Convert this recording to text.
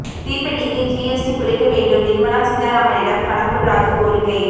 தீப்பெட்டிக்கு GST குறைக்க வேண்டும் நிர்மலா சீதாரமனிடம் கடம்பூர் ராஜூ கோரிக்கை